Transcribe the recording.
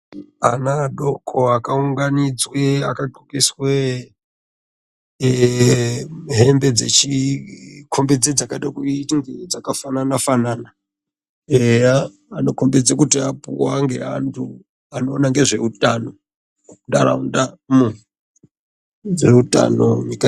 Ana adoko akaunganidzwa akadhlokeswa hebe dzekuda kuita dzakafanana fanana eyadza dzinokomnidza kuti apiwa ngeantu anoona ngezveutano munharaundamo dzeutano.